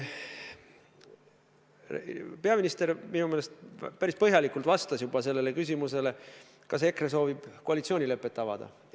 Peaminister minu meelest päris põhjalikult vastas juba sellele küsimusele, kas EKRE soovib koalitsioonilepet avada.